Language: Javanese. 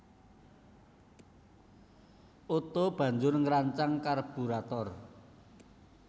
Otto banjur ngrancang karburator